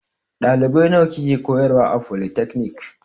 Ɗalibai nawa kike koyarwa a folitakanik?